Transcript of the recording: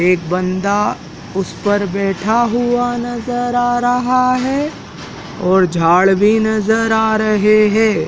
एक बंदा उस पर बैठा हुआ नजर आ रहा हैं और झाड़ भीं नजर आ रहें हैं।